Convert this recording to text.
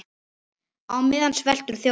Á meðan sveltur þjóðin.